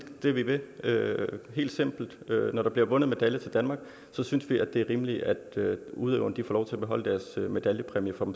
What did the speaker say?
det vi vil helt simpelt når der bliver vundet medaljer til danmark synes vi det er rimeligt at udøverne får lov til at beholde deres medaljepræmier